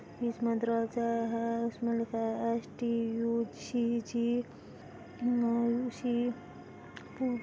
इसमें दरवाजा है। इसमें लिखा है एसटीयूजीजी --